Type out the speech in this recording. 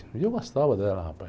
E eu gostava dela, rapaz.